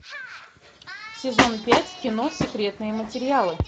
сезон пять кино секретные материалы